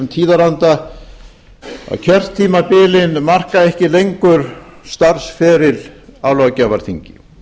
tíðaranda að kjörtímabilin marka ekki lengur starfsferil á löggjafarþingi